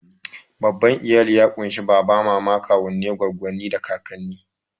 Babban iyali ya ƙunshi baba, mama, kawunnai, goggonni, da kakanni.